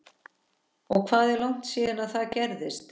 Og hvað er langt síðan það gerðist?